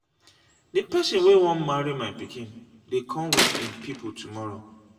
the person wey wan marry my pikin dey come with im people tomorrow.